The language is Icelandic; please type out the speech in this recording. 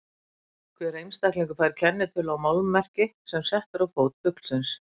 Hver einstaklingur fær kennitölu á málmmerki sem sett er á fót fuglsins.